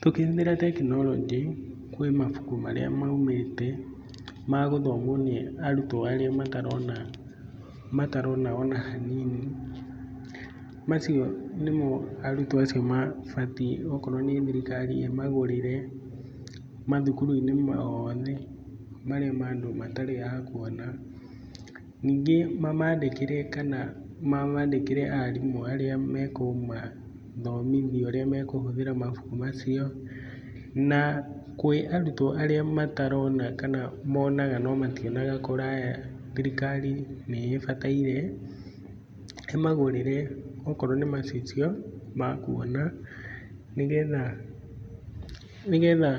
Tũkĩhũthĩra tekinoronjĩ kwĩ mabuku marĩa maumĩte magũthomwo nĩ arũtwo arĩa matarona, matarona ona hanini. Macio nĩmo arũtwo acio mabatiĩ okorwo nĩ thirikari ĩmagũrĩre mathukuru-inĩ oothe marĩa ma andũ matarĩ akũona. Ningĩ mamandĩkĩre kana mamandĩkĩre arimũ arĩa mekũmathomithia ũrĩa mekũhũthĩra mabuku macio na kwĩ arutwo arĩa matarona kana monaga no mationaga kũraya thirikari nĩĩbataire ĩmagũrĩre okorwo nĩ macicio ma kuona nĩgetha